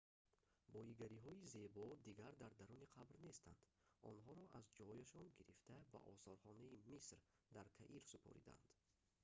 боигариҳои зебо дигар дар даруни қабр нестанд онҳоро аз ҷояшон гирифта ба осорхонаи миср дар каир супоридаанд